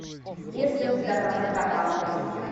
есть ли у тебя красота по английски